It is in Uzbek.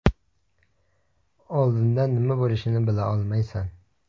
Oldindan nima bo‘lishini bila olmaysan.